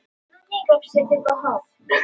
Hann velti kortinu milli handanna.